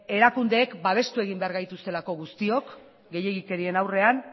erakundeek babestu egin behar gaituzte guztiok gehiegikeriaren aurrean